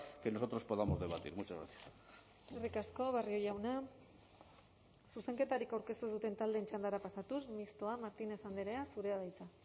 que nosotros podamos debatir muchas gracias eskerrik asko barrio jauna zuzenketarik aurkeztu ez duten taldeen txandara pasatuz mistoa martínez andrea zurea da hitza